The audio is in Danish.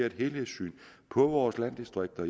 et helhedssyn på vore landdistrikter